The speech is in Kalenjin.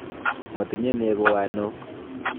Motinye neko wanok.